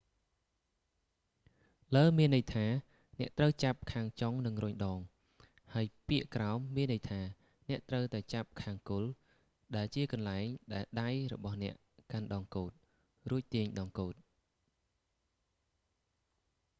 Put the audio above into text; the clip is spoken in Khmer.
លើ មានន័យថាអ្នកត្រូវចាប់ខាងចុងនិងរុញដង ហើយពាក្យក្រោម មានន័យថាអ្នកត្រូវតែចាប់ខាងគល់ ដែលជាកន្លែងដែលដៃរបស់អ្នកកាន់ដងកូដ រួចទាញដងកូដ